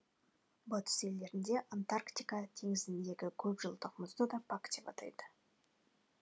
батыс елдерінде антарктика теңіздеріндегі көпжылдық мұзды да пак деп атайды